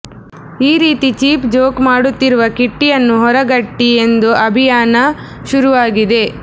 ಈ ರೀತಿ cheap joke ಮಾಡುತ್ತಿರುವ ಕಿಟ್ಟಿಯನ್ನು ಹೊರಗಟ್ಟಿ ಎಂದು ಅಭಿಯಾನ ಶುರುವಾಗಿದೆ